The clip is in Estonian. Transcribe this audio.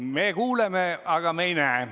Me kuuleme, aga me ei näe teid.